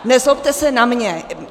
Nezlobte se na mě.